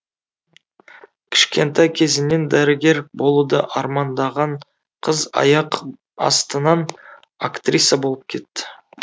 кішкентай кезінен дәрігер болуды армандаған қыз аяқ астынан актриса болып кетті